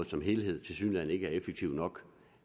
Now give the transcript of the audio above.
som helhed tilsyneladende ikke er effektive nok